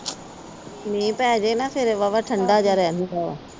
ਮੀਂਹ ਪੈ ਜੇ ਨਾ ਫਿਰ ਵਾਹਵਾ ਠੰਡਾ ਜਾ ਰਹਿੰਦਾ।